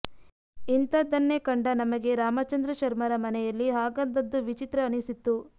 ಇಂಥದ್ದನ್ನೇ ಕಂಡ ನಮಗೆ ರಾಮಚಂದ್ರ ಶರ್ಮರ ಮನೆಯಲ್ಲಿ ಹಾಗಂದದ್ದು ವಿಚಿತ್ರ ಅನಿಸಿತ್ತು